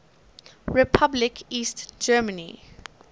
republic east germany